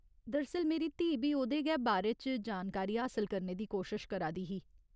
दरअसल, मेरी धीऽ बी ओह्‌‌दे गै बारे च जानकारी हासल करने दी कोशश करा दी ही।